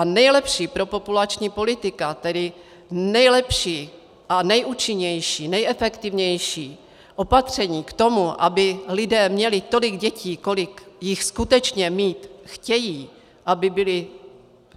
A nejlepší propopulační politika, tedy nejlepší a nejúčinnější, nejefektivnější opatření k tomu, aby lidé měli tolik dětí, kolik jich skutečně mít chtějí, aby byli